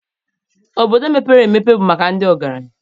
Obodo mepere emepe bụ maka ndị ọgaranya